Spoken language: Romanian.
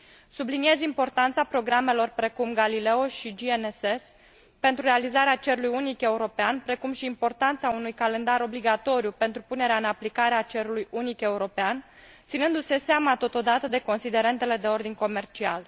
Subliniez importanța programelor precum Galileo și GNSS pentru realizarea cerului unic european, precum și importanța unui calendar obligatoriu pentru punerea în aplicare a cerului unic european, ținându se seama, totodată, de considerentele de ordin comercial.